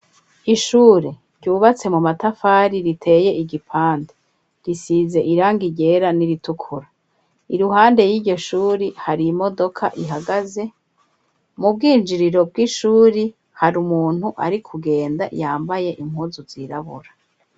Ishure ryubatse mu matafari riteye igipande risize iranga irera n'iritukura i ruhande y'igishuri hari imodoka ihagaze mu bwinjiriro bw'ishuri hari umuntu ari kugenda yambaye impuzu zirabura.